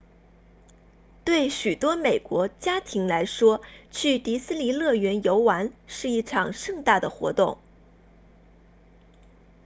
对许多美国家庭来说去迪斯尼乐园游玩是一场盛大的活动